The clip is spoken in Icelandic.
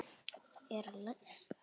Er læst?